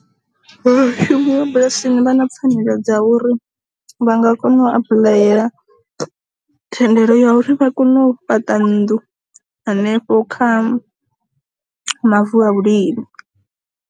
Vha shumi vha bulasini vha na pfanelo dza uri vha nga kona u apuḽayela thendelo ya uri vha kone u fhaṱa nnḓu hanefho kha mavu a vhulimi.